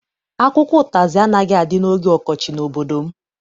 Akwụkwọ ụtazị anaghị adị oge ọkọchị n'obodo m.